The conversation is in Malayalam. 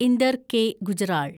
ഇന്ദർ കെ. ഗുജ്റാൾ